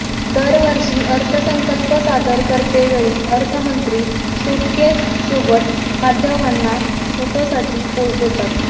दरवर्षी अर्थसंकल्प सादर करतेवेळी अर्थमंत्री सुटकेससोबत माध्यमांना फोटोसाठी पोज देतात